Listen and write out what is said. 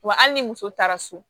Wa hali ni muso taara so